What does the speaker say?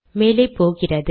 மேலே போகிறது